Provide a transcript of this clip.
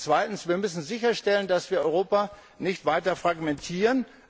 Zweitens Wir müssen sicherstellen, dass wir Europa nicht weiter fragmentieren.